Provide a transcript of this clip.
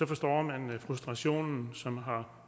forstår man frustrationen som har